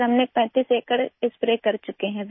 ہم اب تک 35 ایکڑ پر اسپرے کر چکے ہیں